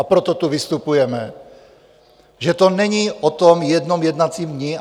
A proto tu vystupujeme, že to není o tom jednom jednacím dni.